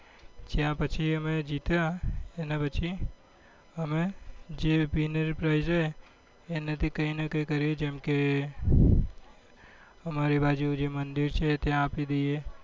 જ્યાં પછી અમે જીત્ય એના પછી અમે જે winner price હે એના થી કઈ નાં કઈ કરીએ જેમ કે અમારી બાજુ જે મંદિર છે ત્યાં આપી દઈએ